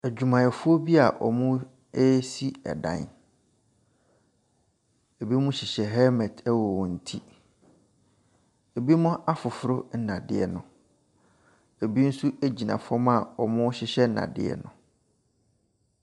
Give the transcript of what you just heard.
Adwumayɛfoɔ bi a wɔresi ɛdan. Ebinim hyehyɛ helment wɔ wɔn ti. Ebinom afoforo nnadeɛ no. Ebi nso gyina fam a wɔrehyehyɛ nnadeɛ no.